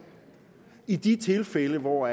i de tilfælde hvor